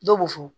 Dɔw b'u fɔ